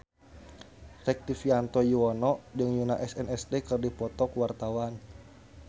Rektivianto Yoewono jeung Yoona SNSD keur dipoto ku wartawan